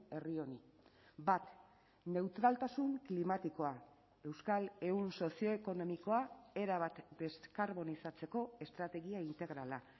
herri honi bat neutraltasun klimatikoa euskal ehun sozioekonomikoa erabat deskarbonizatzeko estrategia integrala